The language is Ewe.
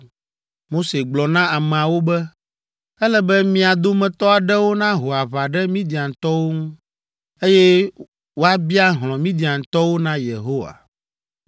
Mose gblɔ na ameawo be, “Ele be mia dometɔ aɖewo naho aʋa ɖe Midiantɔwo ŋu, eye woabia hlɔ̃ Midiantɔwo na Yehowa.